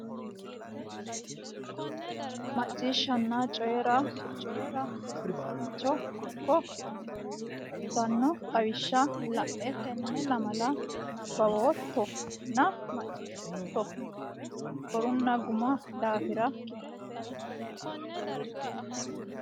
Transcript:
Macciishshanna Coyi ra Coyi ra Rosiisaanchi okki aannohe uytannohe xawishsha la e tenne lamala nabbawootto nna macciishshootto niwaawe korinna gumi daafira kifilete miillakki ledo hasaawi.